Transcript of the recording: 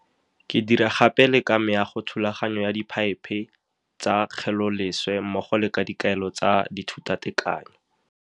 Ke dira gape le ka meago, thulaganyo ya dipeipe tsa kgeleloleswe mmogo le ka dikaelo tsa dithutatekanyo.